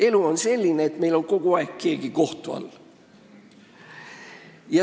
Elu on selline, et meil on keegi kogu aeg kohtu all.